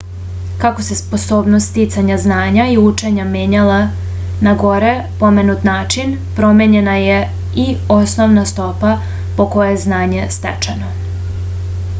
kako se sposobnost sticanja znanja i učenja menjala na gore pomenut način promenjena je i osnovna stopa po kojoj je znanje stečeno